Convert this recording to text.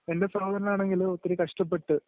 എൻ്റെ സഹോദരനാണെങ്കില്‍ ഒത്തിരി കഷ്ടപ്പെട്ട്..